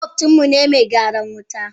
Makwabcin mu me gyaran wuta ne.